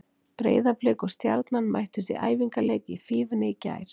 Breiðablik og Stjarnan mættust í æfingarleik í Fífunni í gær.